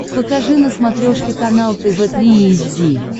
покажи на смотрешке канал тв три эйч ди